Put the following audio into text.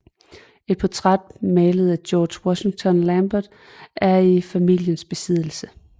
Et portræt malet af George Washington Lambert er i familiens besiddelse